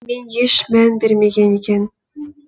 мен еш мән бермеген екен